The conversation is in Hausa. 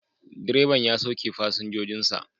Direban ya sauke fasinjojin sa